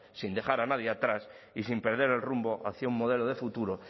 sin dejar a nadie atrás y sin perder el rumbo hacia un modelo de futuro